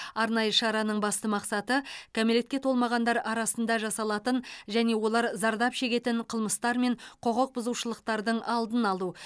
арнайы шараның басты мақсаты кәмелетке толмағандар арасында жасалатын және олар зардап шегетін қылмыстар мен құқық бұзушылықтардың алдын алу